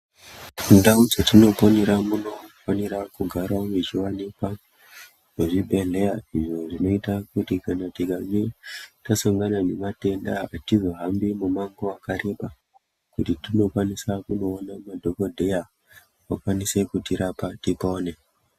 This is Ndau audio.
Ndau dzatinoponera munofanira kugara mechivanikwa zvibhedhleya izvo zvinoita kuti kana tikange tasangana nematenda hatizohambi mumango vakareba. Kuti tinokwanisa kunoona madhogodheya vakwanise kutirapa tipone.